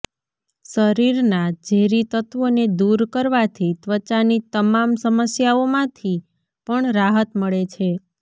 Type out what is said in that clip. શરીરના ઝેરી તત્વોને દૂર કરવાથી ત્વચાની તમામ સમસ્યાઓમાંથી પણ રાહત મળે છે